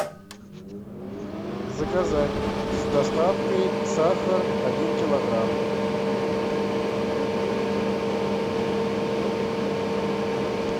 заказать с доставкой сахар один килограмм